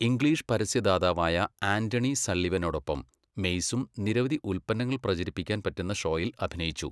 English പരസ്യദാതാവായ Anthony സള്ളിവനോടൊപ്പം മെയ്സും നിരവധി ഉൽപ്പന്നങ്ങൾ പ്രചരിപ്പിക്കാൻ പറ്റുന്ന ഷോയിൽ അഭിനയിച്ചു.